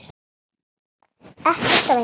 Ekkert af engu.